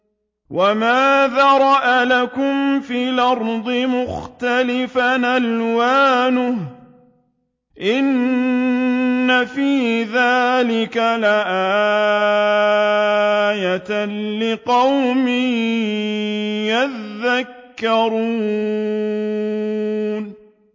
وَمَا ذَرَأَ لَكُمْ فِي الْأَرْضِ مُخْتَلِفًا أَلْوَانُهُ ۗ إِنَّ فِي ذَٰلِكَ لَآيَةً لِّقَوْمٍ يَذَّكَّرُونَ